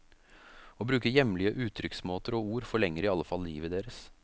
Å bruke hjemlige uttrykksmåter og ord forlenger i alle fall livet deres.